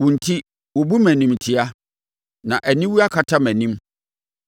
Wo enti wobu me animtiaa, na aniwuo akata mʼanim.